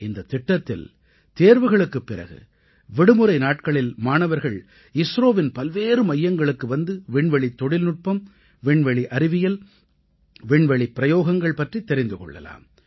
இந்தத் திட்டத்தில் தேர்வுகளுக்குப் பிறகு விடுமுறை நாட்களில் மாணவர்கள் இஸ்ரோவின் பல்வேறு மையங்களுக்கு வந்து விண்வெளித் தொழில்நுட்பம் விண்வெளி அறிவியல் விண்வெளிப் பிரயோகங்கள் பற்றித் தெரிந்து கொள்ளலாம்